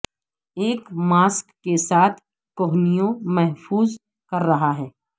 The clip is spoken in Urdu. ایک ماسک کے ساتھ کوہنیوں محفوظ کر رہا ہے